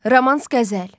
Romans qəzəl.